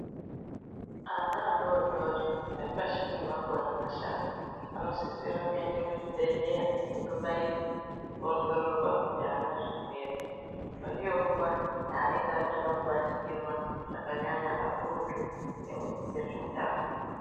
Ana adodori ari pashi pemakore mashanu anosisa kuenda kuchibhedhlera eibaiwa. Kuongororwa kuti aana zvirwere ere. Ndonguwa yaanenge achada kubatikirwa zvakanyanya kakurutu ngezveutano.